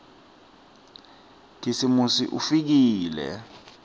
khisimusi ufikile